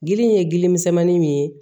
Gili in ye gili misɛnmanin min ye